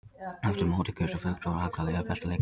Eftir mótið kusu fulltrúar allra liða bestu leikmennina.